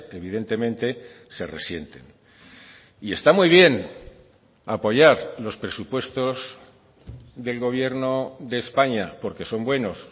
evidentemente se resienten y está muy bien apoyar los presupuestos del gobierno de españa porque son buenos